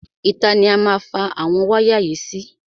Ìta ni a má fa àwọn wáyà yìí sí.